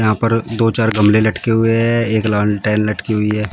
यहाँ पर दो चार गमले लटके हुए है एक लालटेन लटकी हुई है।